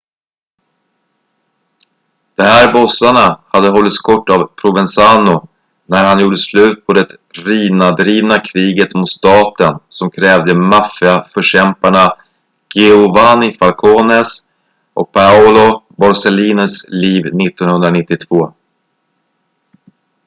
de här bossarna hade hållits kort av provenzano när han gjorde slut på det riina-drivna kriget mot staten som krävde maffia-förkämparna giovanni falcones och paolo borsellinos liv 1992